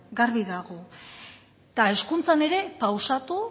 garbi dago eta hezkuntzan ere pausatu